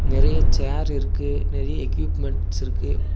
நெறைய சேர் இருக்கு நெறைய எக்யூப்மெண்ட்ஸ் இருக்கு.